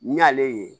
N y'ale ye